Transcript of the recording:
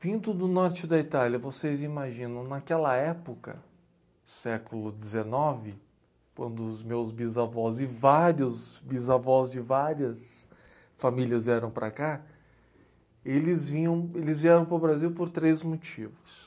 Vindo do norte da Itália, vocês imaginam, naquela época, século dezenove, quando os meus bisavós e vários bisavós de várias famílias vieram para cá, eles vinham eles vieram para o Brasil por três motivos.